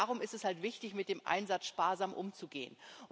Darum ist es halt wichtig, mit dem Einsatz sparsam umzugehen.